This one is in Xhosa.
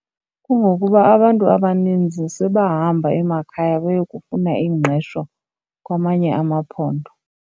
Kungokuba abantu abaninzi sebahamba emakhaya beyokufuna ingqesho kwamanye amaphondo.